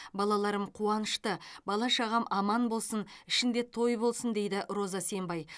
балаларым қуанышты бала шағам аман болсын ішінде той болсын дейді роза сембай